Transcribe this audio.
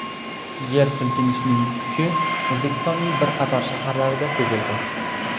Yer silkinishining kuchi O‘zbekistonning bir qator shaharlarida sezildi.